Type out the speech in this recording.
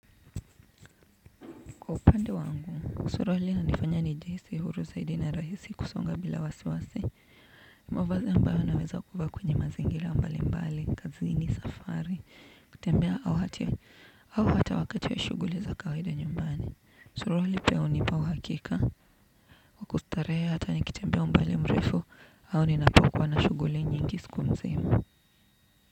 Kwa upande wangu, suruali inanifanya nijihisi huru zaidi na rahisi kusonga bila wasiwasi. Mavazi ambayo naweza kuvaa kwenye mazingira mbali mbali, kazini, safari, kutembea au hata wakati wa shughuli za kawida nyumbani. Suruali pia hunipa uhakika, kwa kustarehe hata nikitembea umbali mrefu au ninapokuwa na shughuli nyingi siku nzima.